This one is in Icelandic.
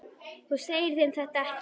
Þú segir þeim þetta ekki.